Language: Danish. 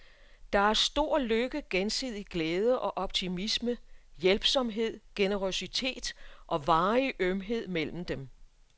Der er stor lykke, gensidig glæde og optimisme, hjælpsomhed, generøsitet og varig ømhed mellem dem.